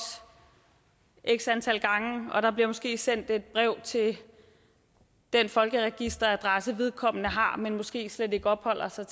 x antal gange og der bliver måske sendt et brev til den folkeregisteradresse vedkommende har men måske slet ikke opholder sig